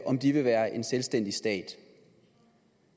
om de vil være en selvstændig stat